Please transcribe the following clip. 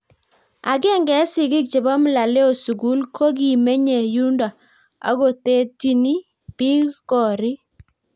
agenge eng sikik che bo mlaleo sugul kokimenye yundo akotetyini bik korik